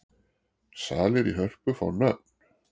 Salir í Hörpu fá nöfn